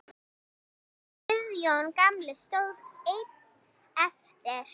Guðjón gamli stóð einn eftir.